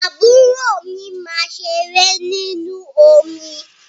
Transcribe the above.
Àbúrò mi máa ṣeré ninú omi.